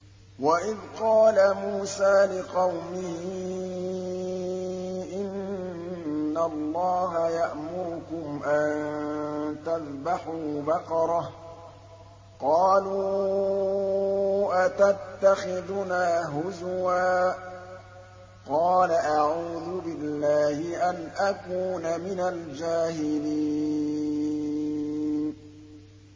وَإِذْ قَالَ مُوسَىٰ لِقَوْمِهِ إِنَّ اللَّهَ يَأْمُرُكُمْ أَن تَذْبَحُوا بَقَرَةً ۖ قَالُوا أَتَتَّخِذُنَا هُزُوًا ۖ قَالَ أَعُوذُ بِاللَّهِ أَنْ أَكُونَ مِنَ الْجَاهِلِينَ